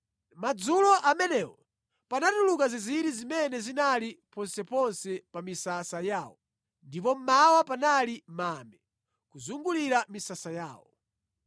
Madzulo amenewo panatuluka zinziri zimene zinali ponseponse pa misasa yawo, ndipo mmawa panali mame kuzungulira misasa yawo.